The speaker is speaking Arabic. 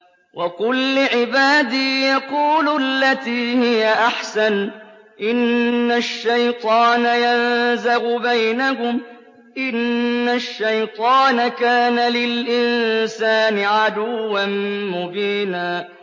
وَقُل لِّعِبَادِي يَقُولُوا الَّتِي هِيَ أَحْسَنُ ۚ إِنَّ الشَّيْطَانَ يَنزَغُ بَيْنَهُمْ ۚ إِنَّ الشَّيْطَانَ كَانَ لِلْإِنسَانِ عَدُوًّا مُّبِينًا